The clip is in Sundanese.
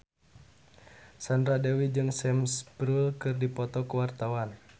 Sandra Dewi jeung Sam Spruell keur dipoto ku wartawan